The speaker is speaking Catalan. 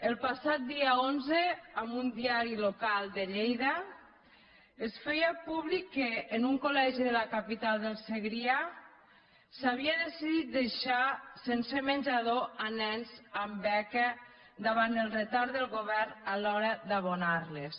el passat dia onze en un diari local de lleida es feia públic que en un col·legi de la capital del segrià s’havia decidit deixar sense menjador nens amb beca davant el retard del govern a l’hora d’abonar les